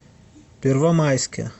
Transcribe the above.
первомайске